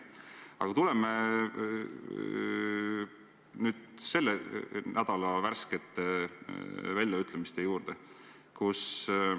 Aga tuleme nüüd selle nädala värskete väljaütlemiste juurde.